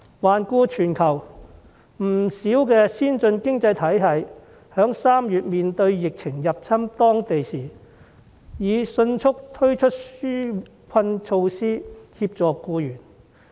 環顧全球，不少先進經濟體系在3月面對疫情入侵當地時，已迅速推出紓困措施，協助僱員。